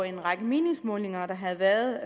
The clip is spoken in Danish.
en række meningsmålinger der havde været